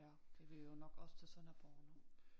Ja de vil jo nok også til Sønderborg nu